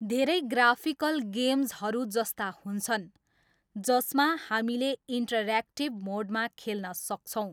धेरै ग्राफिकल गेम्जहरू जस्ता हुन्छन् जसमा हामीले इन्ट्रऱ्याक्टिभ मोडमा खेल्न सक्छौँ।